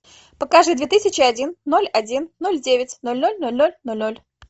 покажи две тысячи один ноль один ноль девять ноль ноль ноль ноль ноль ноль